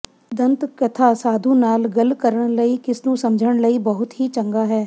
ਦੰਤਕਥਾ ਸਾਧੂ ਨਾਲ ਗੱਲ ਕਰਨ ਲਈ ਕਿਸ ਨੂੰ ਸਮਝਣ ਲਈ ਬਹੁਤ ਹੀ ਚੰਗਾ ਹੈ